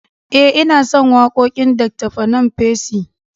Eh inason wakoƙin Dr panam percy